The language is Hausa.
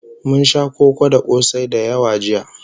Mun sha koko da kosai da yawa jiya